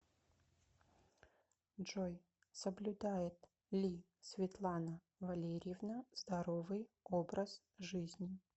джой соблюдает ли светлана валерьевна здоровый образ жизни